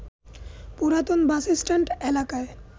পুরাতন বাসস্ট্যান্ড এলাকায়